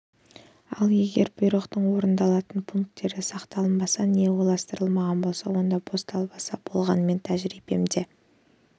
ал егер бұйрықтың орындалатын пункттері сақталынбаса не ойластырылмаған болса онда бос далбаса болғаныменің тәжірибемде